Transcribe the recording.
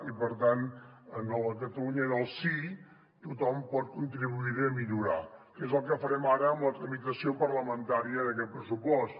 i per tant en la catalunya del sí tothom pot contribuir a millorar que és el que farem ara amb la tramitació parlamentària d’aquest pressupost